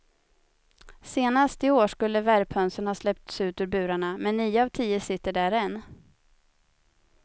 Senast i år skulle värphönsen ha släppts ut ur burarna, men nio av tio sitter där än.